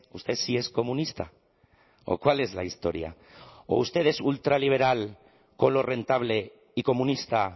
usted si es comunista o cuál es la historia o usted es ultraliberal con lo rentable y comunista